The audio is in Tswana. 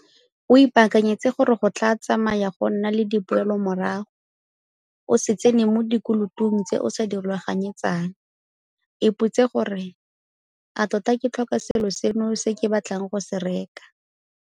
O ipaakanyetse gore go tla tsamaya go nna le dipoelomorago. O se tsene mo dikolotong tse o sa di rulaganyetsang. Ipotsise gore - A tota ke tlhoka selo seno se ke batlang go se reka?